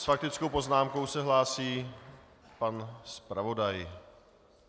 S faktickou poznámkou se hlásí pan zpravodaj.